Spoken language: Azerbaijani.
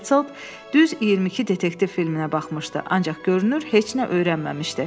Petzel düz 22 detektiv filminə baxmışdı, ancaq görünür heç nə öyrənməmişdi.